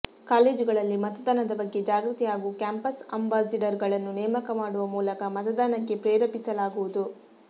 ಕಾಲೇಜುಗಳಲ್ಲಿ ಮತದಾನದ ಬಗ್ಗೆ ಜಾಗೃತಿ ಹಾಗೂ ಕ್ಯಾಂಪಸ್ ಅಂಬಾಸಿಡರ್ಗಳನ್ನು ನೇಮಕ ಮಾಡುವ ಮೂಲಕ ಮತದಾನಕ್ಕೆ ಪ್ರೇರೇಪಿಸಲಾಗುವುದು